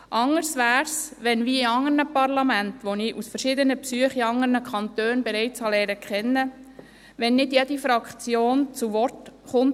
Anders wäre es, wenn – wie in anderen Parlamenten, die ich durch verschiedene Besuche in anderen Kantonen bereits kennenlernte – bei einem Thema nicht jede Fraktion zu Wort kommt.